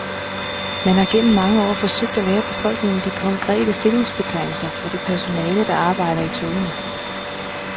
Man har gennem mange år forsøgt at lære befolkningen de korrekte stillingsbetegnelser for det personale, der arbejder i togene.